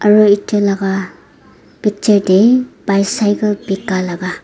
aro etu laka picture dae bicycle bika laka.